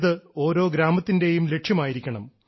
ഇത് ഓരോ ഗ്രാമത്തിൻറെയും ലക്ഷ്യമായിരിക്കണം